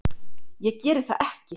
Ég geri það ekki!